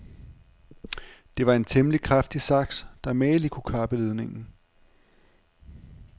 Det var en temmelig kraftig saks, der mageligt kunne kappe ledningen.